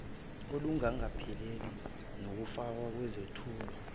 olungakapheleli nokufakwa kwezethulo